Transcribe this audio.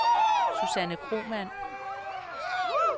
Susanne Kromann